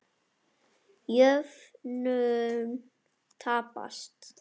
Jöfnun taps.